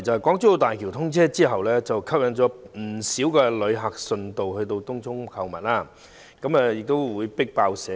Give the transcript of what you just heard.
港珠澳大橋通車後吸引了不少旅客順道前往東涌購物，甚至"迫爆"社區。